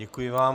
Děkuji vám.